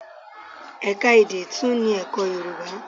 Ẹ̀ka èdè tún ní ẹ̀kọ́ Yorùbá.